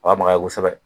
O ka maga kosɛbɛ